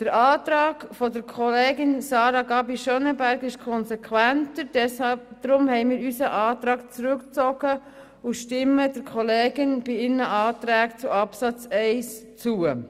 Der Antrag von der Kollegin Sarah Gabi Schönenberger ist konsequenter, deshalb haben wir unseren Antrag zurückgezogen und stimmen dem Antrag der Kollegin zu Absatz 1 zu.